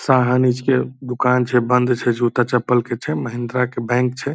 के दुकान छे। बंद छे। जूता चपल के छे। महिंद्रा के बैंक छे।